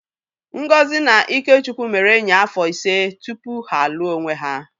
Ngozi na Ikechukwu mere enyi afọ ise tupu ha alụọ onwe ha.